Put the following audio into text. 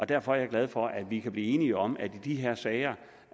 derfor er jeg glad for at vi kan blive enige om at i de her sager